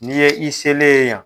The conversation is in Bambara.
N'i ye i selen ye yan.